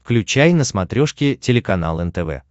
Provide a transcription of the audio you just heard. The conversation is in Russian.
включай на смотрешке телеканал нтв